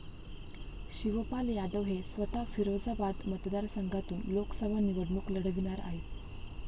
शिवपाल यादव हे स्वतः फिरोजाबाद मतदारसंघातून लोकसभा निवडणूक लढविणार आहेत.